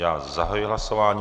Já zahajuji hlasování.